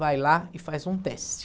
Vai lá e faz um teste.